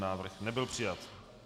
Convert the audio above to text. Návrh nebyl přijat.